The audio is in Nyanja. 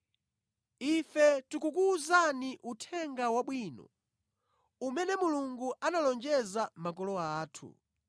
“Ife tikukuwuzani Uthenga Wabwino; umene Mulungu analonjeza makolo athu.